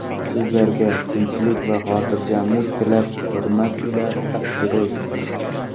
Sizlarga tinchlik va xotirjamlik tilab hurmat ila asteroid.